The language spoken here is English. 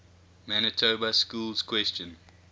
manitoba schools question